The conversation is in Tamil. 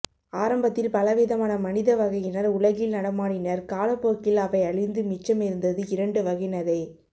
ஆரம்பத்தில் பல விதமான மனித வகையினர் உலகில் நடமாடினர் காலப்போக்கில் அவை அழிந்து மிச்சம் இருந்தது இரண்டு வகையினரே